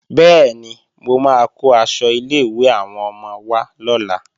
Bẹ́ẹ̀ni, mo máa kó aṣọ ilé-ìwé àwọn ọmọ wá lọ́la